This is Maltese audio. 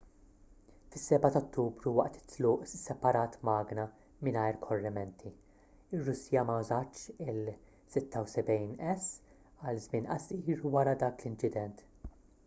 fis-7 ta' ottubru waqt it-tluq isseparat magna mingħajr korrimenti ir-russja ma użatx il-76s għal żmien qasir wara dak l-inċident